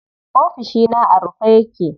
Ofishina a rufe yake.